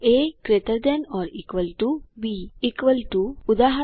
એ gt B equal ટુ160 ઉદા